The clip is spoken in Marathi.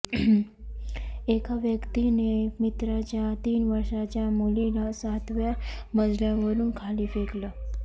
एका व्यक्तीने मित्राच्या तीन वर्षाच्या मुलीला सातव्या मजल्यावरून खाली फेकलं